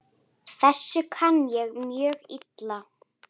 Þessu kann ég mjög illa.